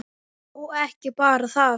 Og ekki bara það: